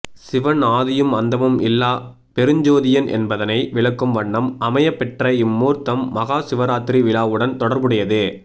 சிவன் ஆதியும் அந்தமும் இல்லா பெருஞ்சோதியன் என்பதனை விளக்கும் வண்ணம் அமையப்பெற்ற இம்மூர்த்தம் மகா சிவராத்திரி விழாவுடன் தொடர்புடையது